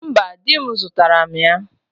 Mba di m zutara m ya